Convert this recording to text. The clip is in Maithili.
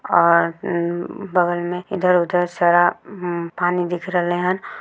और उम् बगल में इधर-उधर सारा हम्म पानी दिख रहले हन।